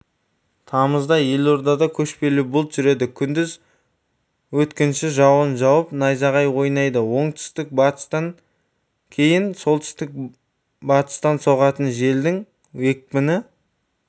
тамызда елордада көшпелі бұлт жүреді күндіз өткінші жауын жауып найзағай ойнайды оңтүстік-батыстан кейін солтүстік-батыстансоғатын желдің екпіні